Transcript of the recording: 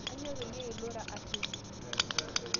Aanyo payie ilura asioki